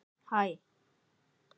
Við gerum mjög miklar kröfur.